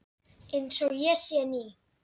Einsog ég sé ný.